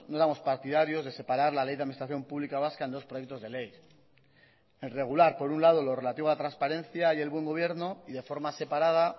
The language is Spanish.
no éramos partidarios de separar la ley de administración pública vasca en dos proyectos de ley el regular por un lado lo relativo a transparencia y el buen gobierno y de forma separada